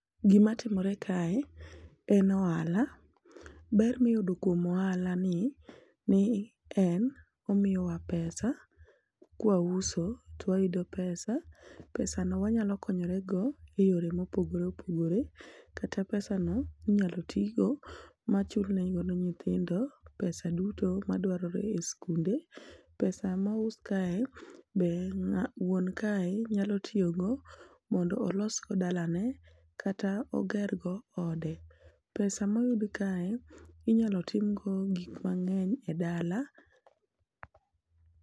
gima timore kae en ohala, ber miyudo kuom ohala ni ni en omiyo wa pesa kwa uso to wayudo pesa ,pesa no wanyalo konyore go e yore mopogore opogore ,kata pesa no inyalo ti go achul ne godo nyithindo pesa duto madwarore e skunde, pesa ma ous kae be wuon kae nyalo tiyo go mondo olod go dalane kata oger go ode, pesa ma uos kae inyalo tim go gik mang'eny e dala.